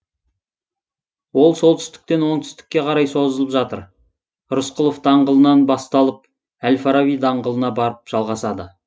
ол солтүстіктен оңтүстікке қарай созылып жатыр рысқұлов даңғылынан басталып әл фараби даңғылына барып жалғасады